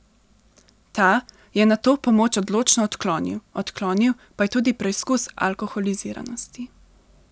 Ta je nato pomoč odločno odklonil, odklonil pa je tudi preizkus alkoholiziranosti.